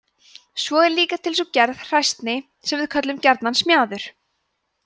svo er líka til sú gerð hræsni sem við köllum gjarnan smjaður